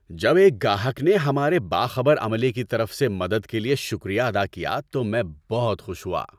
جب ایک گاہک نے ہمارے باخبر عملے کی طرف سے مدد کے لیے شکریہ ادا کیا تو میں بہت خوش ہوا۔